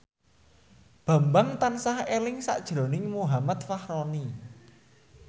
Bambang tansah eling sakjroning Muhammad Fachroni